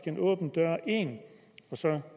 en åben dør ind og så